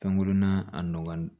Kangunna a nɔgɔn